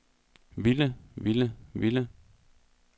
ville ville ville